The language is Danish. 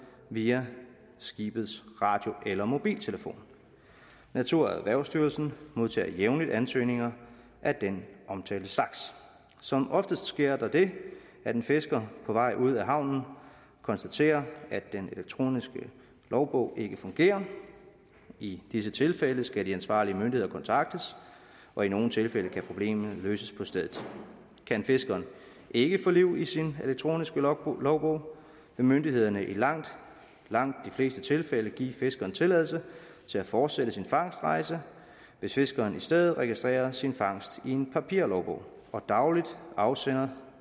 via skibets radio eller mobiltelefon naturerhvervsstyrelsen modtager jævnligt ansøgninger af den omtalte slags som oftest sker der det at en fisker på vej ud af havnen konstaterer at den elektroniske logbog ikke fungerer i disse tilfælde skal de ansvarlige myndigheder kontaktes og i nogle tilfælde kan problemet løses på stedet kan fiskeren ikke få liv i sin elektroniske logbog logbog vil myndighederne i langt langt de fleste tilfælde give fiskeren tilladelse til at fortsætte sin fangstrejse hvis fiskeren i stedet registrerer sin fangst i en papirlogbog og dagligt afsender